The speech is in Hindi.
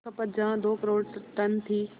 खपत जहां दो करोड़ टन थी